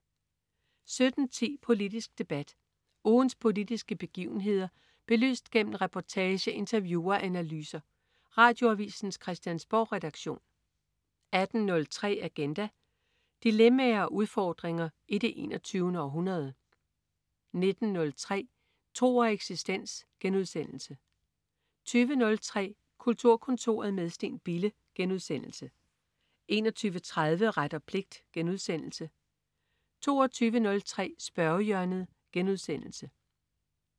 17.10 Politisk debat. Ugens politiske begivenheder belyst gennem reportage, interview og analyser. Radioavisens Christiansborgredaktion 18.03 Agenda. Dilemmaer og udfordringer i det 21. århundrede 19.03 Tro og eksistens* 20.03 Kulturkontoret med Steen Bille* 21.30 Ret og pligt* 22.03 Spørgehjørnet*